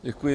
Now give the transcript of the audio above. Děkuji.